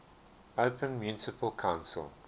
open municipal council